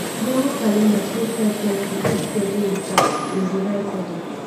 google calender fit help person fit schedule im task in di right order